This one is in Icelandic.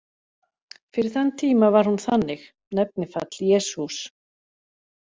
Fyrir þann tíma var hún þannig: Nefnifall: Jesús